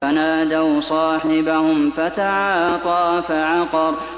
فَنَادَوْا صَاحِبَهُمْ فَتَعَاطَىٰ فَعَقَرَ